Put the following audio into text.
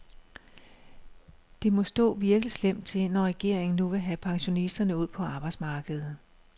Det må stå virkelig slemt til, når regeringen nu vil have pensionisterne ud på arbejdsmarkedet.